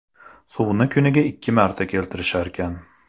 Suvni kuniga ikki marta keltirisharkan.